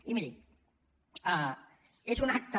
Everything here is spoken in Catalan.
i miri és un acte